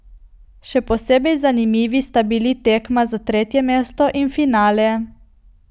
Še posebej zanimivi sta bili tekma za tretje mesto in finale.